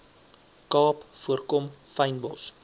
kaap voorkom fynbos